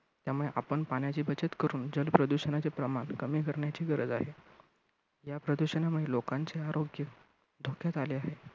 त्यामुळे आपण पाण्याची बचत करुन जल प्रदूषणाचे प्रमाण कमी करण्याची गरज आहे. या प्रदूषणामुळे लोकांचे आरोग्य धोक्यात आले आहे.